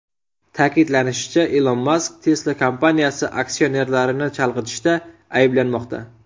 Ta’kidlanishicha, Ilon Mask Tesla kompaniyasi aksionerlarini chalg‘itishda ayblanmoqda.